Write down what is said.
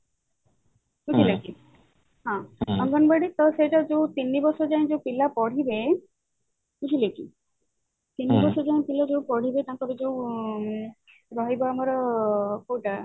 ଅଙ୍ଗନବାଡି ତ ତିନି ବର୍ଷ ଯାଏଁ ଯୋଉ ପିଲା ପଢିବେ ବୁଝିଲେ କି ତିନି ବର୍ଷ ଯାଏଁ ପିଲା ଯୋଉ ପଢିବେ ତାଙ୍କର ଯୋଉ ରହିବ ଆମର କୋଉଟା